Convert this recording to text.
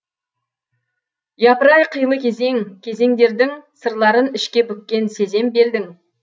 япырай қилы кезең кезеңдердің сырларын ішке бүккен сезем белдің